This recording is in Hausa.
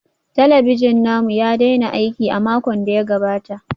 Talabijin namu ya daina aiki a makon da ya gabata